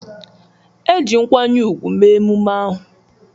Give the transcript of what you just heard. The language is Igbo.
E ji nkwanye ugwu mee emume ahụ.